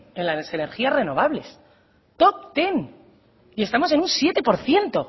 en las energías renovables top hamar y estamos en un siete por ciento